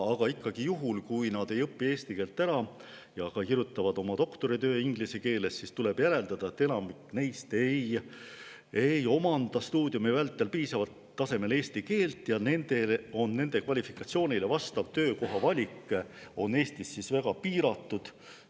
Juhul, kui nad ei õpi eesti keelt ära ja kirjutavad doktoritöö inglise keeles, tuleb järeldada, et enamik neist ei omanda stuudiumi vältel piisaval tasemel eesti keelt ja nende kvalifikatsioonile vastava töökoha valik on Eestis väga piiratud.